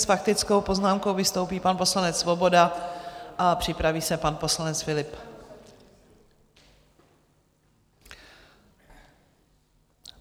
S faktickou poznámkou vystoupí pan poslanec Svoboda a připraví se pan poslanec Philipp.